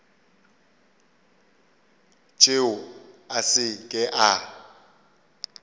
tšeo a se ke a